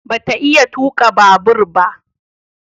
Ba ta iya tuka babur ba